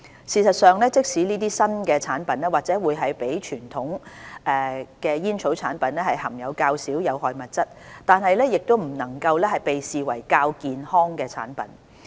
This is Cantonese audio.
事實上，即使這些新產品或會比傳統煙草產品含有較少有害物質，也不能被視為較健康的產品。